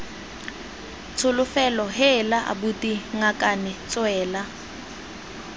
tsholofelo heela abuti ngakane tswela